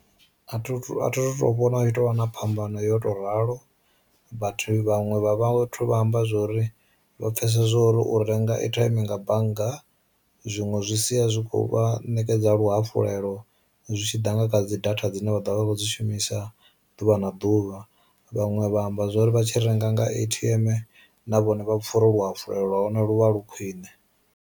A thi a thu vhona u tovha na phambano ya u to ralo, vhathu vhaṅwe vha vhathu vha amba zwori vha pfesa zwori u renga airtime nga bannga zwiṅwe zwi sia zwikho vha ṋekedza fhedza luhafulelo zwi tshi ḓa nga kha dzi data dzine vha ḓo vha vha khou dzi shumisa ḓuvha na ḓuvha, vhaṅwe vha amba zwori vha tshi renga nga A_T_M na vhone vha pfa uri luhafulelo lwa hone lu vha lu khwine.